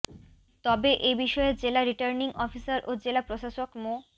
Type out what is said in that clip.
তবে এ বিষয়ে জেলা রিটার্নিং অফিসার ও জেলা প্রশাসক মো